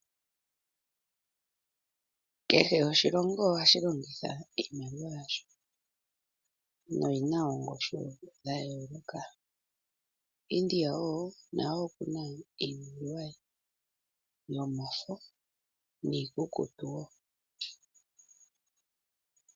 Kehe oshilongo ohashi longitha iimaliwa yasho na oyi na ongushu ya yooloka. India naye oku na iimaliwa ye yomafo niikukutu woo.